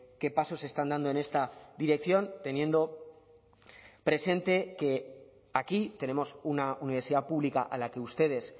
qué pasos están dando en esta dirección teniendo presente que aquí tenemos una universidad pública a la que ustedes